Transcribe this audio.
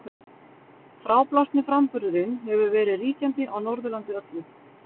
Fráblásni framburðurinn hefur verið ríkjandi á Norðurlandi öllu.